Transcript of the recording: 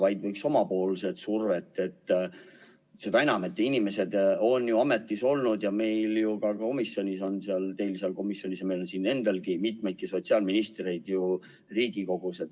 Riigikogu peaks survet avaldama, seda enam, et teil seal komisjonis ja meil siin saalis on mitu endist sotsiaalministrit.